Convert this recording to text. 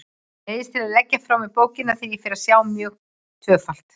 Neyðist til að leggja frá mér bókina þegar ég fer að sjá mjög tvöfalt.